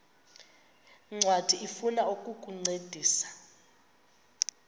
ncwadi ifuna ukukuncedisa